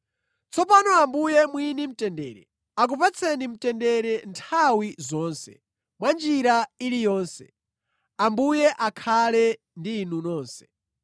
Tsopano Ambuye mwini mtendere akupatseni mtendere nthawi zonse mwa njira iliyonse. Ambuye akhale ndi inu nonse.